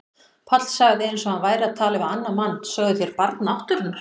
Páll sagði eins og hann væri að tala við annan mann: Sögðuð þér Barn náttúrunnar?